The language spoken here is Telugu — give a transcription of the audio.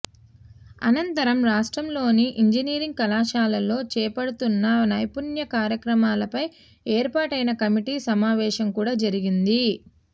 అనంతరం రాష్ట్రంలోని ఇంజనీరింగ్ కళాశాలల్లో చేపడుతున్న నైపుణ్య కార్యక్రమాలపై ఏర్పాటైన కమిటీ సమావేశం కూడా జరిగింది